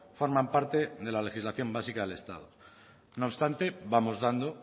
forman parte de la legislación básica del estado no obstante vamos dando